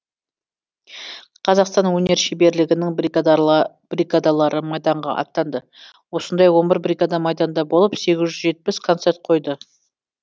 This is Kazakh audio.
қазақстан өнер шеберлерінің бригадалары майданға аттанды осындай он бір бригада майданда болып сегіз жетпіс концерт қойды